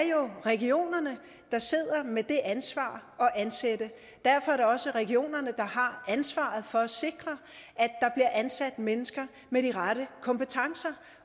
regionerne der sidder med det ansvar at ansætte derfor er det også regionerne der har ansvaret for at sikre at ansat mennesker med de rette kompetencer